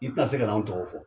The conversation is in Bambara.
I te na se kana anw tɔgɔ fɔ.